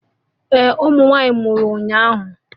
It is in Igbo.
Ee ụmụ nwanyị mụrụ ụnyahụ